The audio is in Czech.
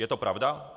Je to pravda?